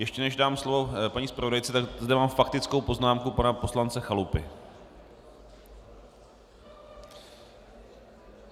Ještě než dám slovo paní zpravodajce, tak zde mám faktickou poznámku pana poslance Chalupy.